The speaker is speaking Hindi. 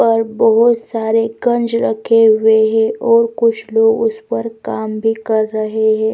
पर बहोत सारे कंज रखे हुए हैं और कुछ लोग उस पर काम भी कर रहे हैं।